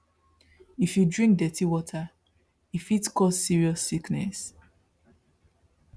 if you drink dirty water e fit cause serious sickness